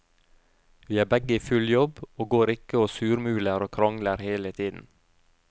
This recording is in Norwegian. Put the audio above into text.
Vi er begge i full jobb og går ikke og surmuler og krangler hele tiden.